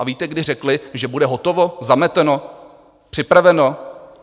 A víte, kdy řekli, že bude hotovo, zameteno, připraveno?